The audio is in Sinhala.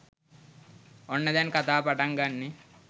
ඔන්න දැන් කතාව පටන් ගන්නෙ